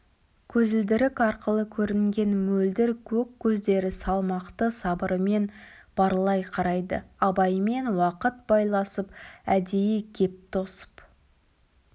көзілдірік арқылы көрінген мөлдір көк көздері салмақты сабырымен барлай қарайды абаймен уақыт байласып әдейі кеп тосып